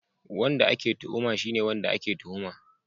Wanda ake tuhuma shine wanda ake tuhuma